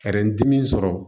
dimi sɔrɔ